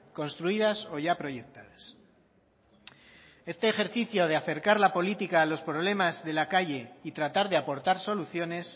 construidas o ya proyectadas este ejercicio de acercar la política a los problemas de la calle y tratar de aportar soluciones